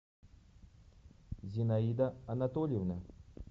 зинаида анатольевна